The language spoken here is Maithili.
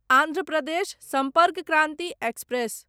आन्ध्र प्रदेश सम्पर्क क्रान्ति एक्सप्रेस